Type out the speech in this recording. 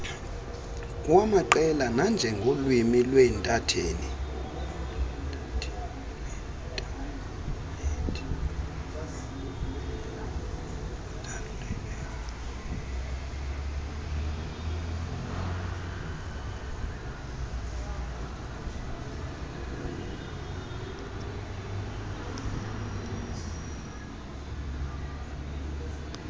kwamaqela nanjengolwimi lweinthanethi